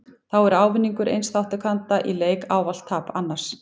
Þá er ávinningur eins þátttakanda í leik ávallt tap annars.